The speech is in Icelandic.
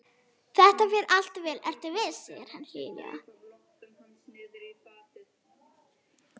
Þetta fer allt vel, vertu viss, segir hann hlýlega.